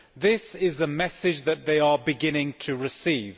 This is the message that they are beginning to receive.